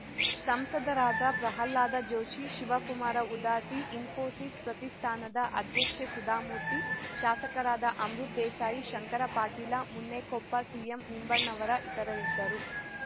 ಸಂಸದರಾದ ಪ್ರಹ್ಲಾದ ಜೋಶಿ ಶಿವಕುಮಾರ ಉದಾಸಿ ಇಸ್ಫೋಸಿಸ್‌ ಪ್ರತಿಷ್ಠಾನದ ಅಧ್ಯಕ್ಷೆ ಸುಧಾಮೂರ್ತಿ ಶಾಸಕರಾದ ಅಮೃತ್‌ ದೇಸಾಯಿ ಶಂಕರ ಪಾಟೀಲ ಮುನೇನಕೊಪ್ಪ ಸಿಎಂ ನಿಂಬಣ್ಣವರ ಇತರರಿದ್ದರು